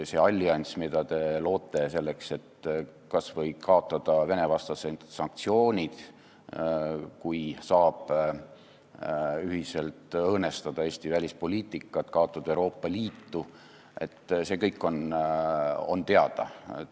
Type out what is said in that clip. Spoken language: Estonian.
See allianss, mida te loote selleks, et kas või kaotada Vene-vastased sanktsioonid, ühiselt õõnestada Eesti välispoliitikat, kaotada Euroopa Liitu – see kõik on teada.